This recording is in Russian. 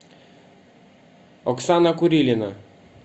оксана курилина